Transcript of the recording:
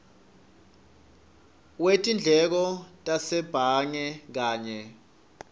wetindleko tasebhange kanye